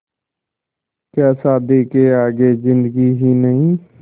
क्या शादी के आगे ज़िन्दगी ही नहीं